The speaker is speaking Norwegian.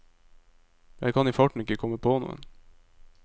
Jeg kan i farten ikke komme på noen.